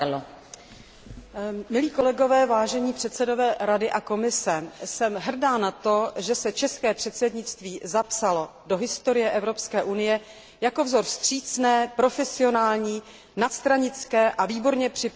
Milí kolegové, vážení předsedové Rady a Komise, jsem hrdá na to, že se české předsednictví zapsalo do historie EU jako vzor vstřícné, profesionální, nadstranické a výborně připravené administrativy.